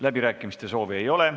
Läbirääkimiste soovi ei ole.